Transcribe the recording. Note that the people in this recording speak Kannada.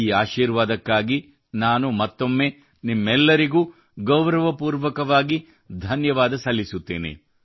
ಈ ಆಶೀರ್ವಾದಕ್ಕಾಗಿ ನಾನು ಮತ್ತೊಮ್ಮೆ ನಿಮ್ಮೆಲ್ಲರಿಗೂ ಗೌರವಪೂರ್ವಕವಾಗಿ ಧನ್ಯವಾದ ಸಲ್ಲಿಸುತ್ತೇನೆ